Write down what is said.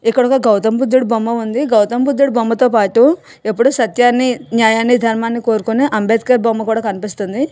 ఇక్కడ ఒక గౌతంబుద్ధుడు బొమ్మ ఉంది. గౌతంబుద్ధుడు బొమ్మతో పాటు ఎప్పుడు సత్యాన్ని న్యాయాన్ని ధర్మాన్ని కోరుకునే అంబేద్కర్ బొమ్మ కూడా కనిపిస్తుంది.